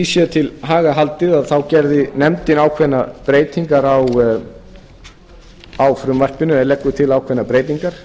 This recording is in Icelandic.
sé til haga haldið þá gerði nefndin ákveðnar breytingar á frumvarpinu eða leggur til ákveðnar breytingar